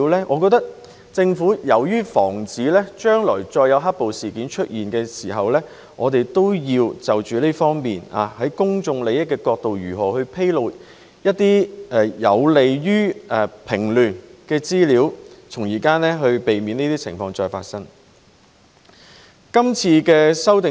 我覺得，為了防止將來再有"黑暴"事件出現，政府要從公眾利益的角度，審視如何披露一些有利於平亂的資料，從而避免再發生這些情況。